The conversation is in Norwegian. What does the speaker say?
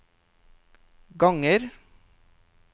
ganger